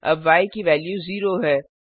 अब य की वेल्यू 0 है